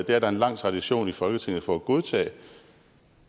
det er der en lang tradition i folketinget for at godtage